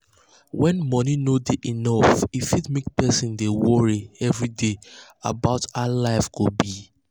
when money no dey enough e fit make person dey worry every day about how life go be.